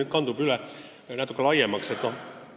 See teema on nüüd natuke laiemaks vajunud.